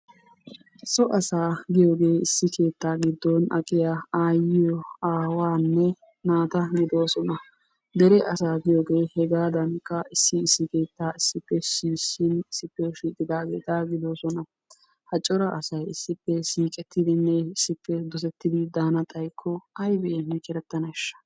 So asaa giyoogee issi keettaa giddon aqqiya aayiyo aawaanne naata gidoosona. dere asaa giyoogee hegaadankka issi issi keettaa issippe shiishin issippe shiiqidageeta gidoosona, ha cora asay issippe siiqettidinne issippe dosettidi daana xayikko aybbi aybbi corataneesha?